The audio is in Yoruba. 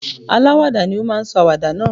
Aláwàdà ni ó máa sọ àwàdà náà.